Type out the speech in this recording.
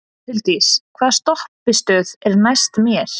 Huldís, hvaða stoppistöð er næst mér?